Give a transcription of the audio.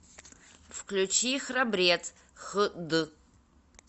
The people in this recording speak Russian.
включи храбрец хд